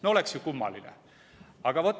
No oleks ju kummaline?